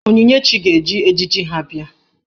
Onyinyechi ga-eji ejiji ha bịa.